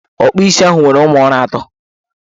Ọkpụ isi ahụ nwere ụmụọrụ ato.